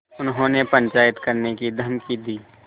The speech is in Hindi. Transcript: उन्होंने पंचायत करने की धमकी दी